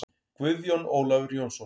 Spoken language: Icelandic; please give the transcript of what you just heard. Guðjón Ólafur Jónsson